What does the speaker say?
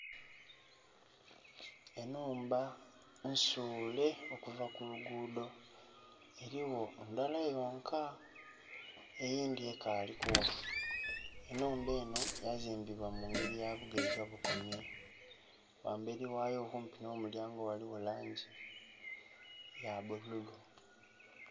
Enhumba nsuule okuva kulugudho erigho ndhala yonka eyindhi ekali kugha. Enhumba enho yazimbibwa mu ngeri ya bugeiga bukomye ghamberi ghayo okumpi nho mulyango ghaligho langi ya bululu.